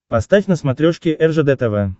поставь на смотрешке ржд тв